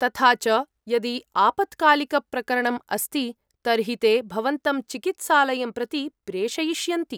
तथा च यदि आपत्कालिकप्रकरणम् अस्ति तर्हि ते भवन्तं चिकित्सालयं प्रति प्रेषयिष्यन्ति।